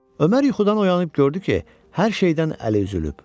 Ömər yuxudan oyanıb gördü ki, hər şeydən əli üzülüb.